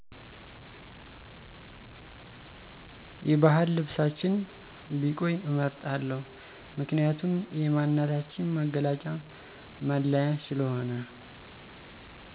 የባህል ልብሳችን ቢቆይ እመርጣለሁ ምክንያቱም የማንነታችን መገለጫ መለያ ስለሆነ።